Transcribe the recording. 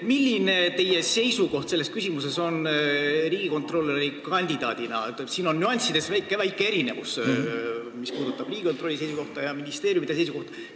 Siin on aga nüanssides väike erinevus, mis puudutab Riigikontrolli seisukohta ja ministeeriumide seisukohta.